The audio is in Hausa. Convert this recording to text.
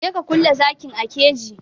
Je ka kulle zakin a keji!